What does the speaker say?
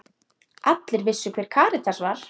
Allir vissu hver Karítas var.